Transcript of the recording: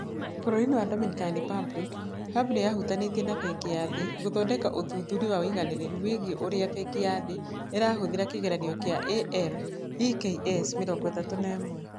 Bũrũri-inĩ wa Dominican Republic, hub nĩ yahutanĩtie na Bengi ya Thĩ gũthondeka ũthuthuria wa ũigananĩru wĩgiĩ ũrĩa Bengi ya Thĩ ĩrahũthĩra kĩgeranio kĩa ALEKS 31.